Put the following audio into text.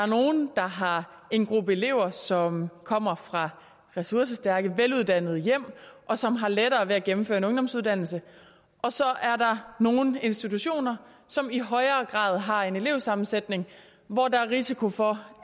nogle der har en gruppe elever som kommer fra ressourcestærke veluddannede hjem og som har lettere ved at gennemføre en ungdomsuddannelse og så er der nogle institutioner som i højere grad har en elevsammensætning hvor der er risiko for